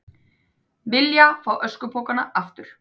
Vilja fá öskupokana aftur